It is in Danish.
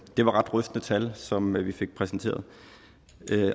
var ret rystende tal som vi fik præsenteret